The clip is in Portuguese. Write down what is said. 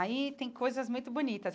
Aí tem coisas muito bonitas.